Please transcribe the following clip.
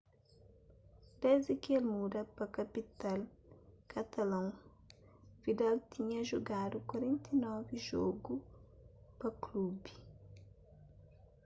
desdi ki el muda pa kapital katalon vidal tinha jugadu 49 jogu pa klubi